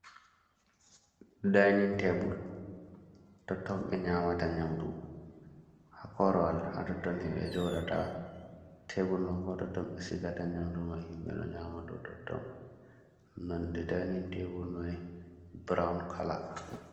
Dainin tebul, tottom ɓe nyamata nyamdu, ha korwal ha totton ni ɓe jooɗata, tebul ɗo bo ha totton ɓe sigata nyamdu mai ,ɓe ɗo nyama dou totton, nonde dainin tebul mai burawon kala.